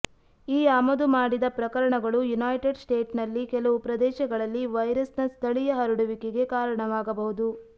ಈ ಆಮದು ಮಾಡಿದ ಪ್ರಕರಣಗಳು ಯುನೈಟೆಡ್ ಸ್ಟೇಟ್ಸ್ನ ಕೆಲವು ಪ್ರದೇಶಗಳಲ್ಲಿ ವೈರಸ್ನ ಸ್ಥಳೀಯ ಹರಡುವಿಕೆಗೆ ಕಾರಣವಾಗಬಹುದು